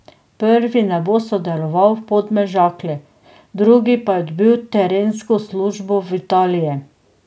Prvi ne bo sodeloval v Podmežakli, drugi pa je dobil trenersko službo v Italiji.